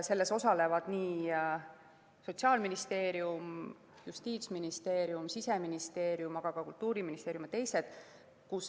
Selles osalevad Sotsiaalministeerium, Justiitsministeerium, Siseministeerium, aga ka Kultuuriministeerium ja teised.